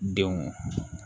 Denw